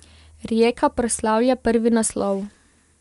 Rijeka proslavlja prvi naslov.